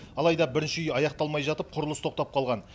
алайда бірінші үй аяқталмай жатып құрылыс тоқтап қалған